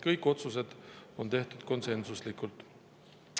Kõik otsused on tehtud konsensuslikult.